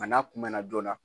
Nka n'a kunmɛnna joona